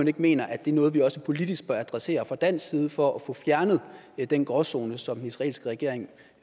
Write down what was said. ikke mener at det er noget vi også politisk bør adressere fra dansk side for at få fjernet den gråzone som den israelske regering